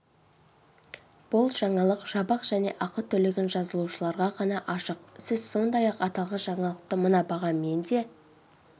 бұл жаңалық жабық және ақы төлеген жазылушыларға ғана ашық сіз сондай-ақ аталған жаңалықты мына бағамен де